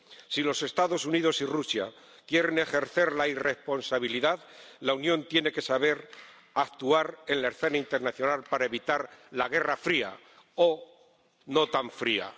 Si los Estados Unidos y Rusia quieren ejercer la irresponsabilidad, la Unión tiene que saber actuar en la escena internacional para evitar la guerra fría, o no tan fría.